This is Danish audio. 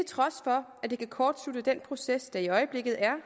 trods for at det kan kortslutte den proces der i øjeblikket er